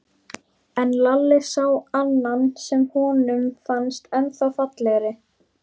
En Lalli sá annan sem honum fannst ennþá fallegri.